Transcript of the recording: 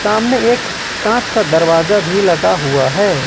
सामने एक कांच का दरवाजा भी लगा हुआ है।